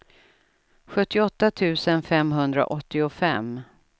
sjuttioåtta tusen femhundraåttiofem